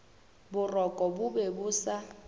boroko bo be bo sa